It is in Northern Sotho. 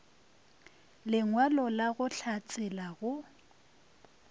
lengwalo la go hlatsela go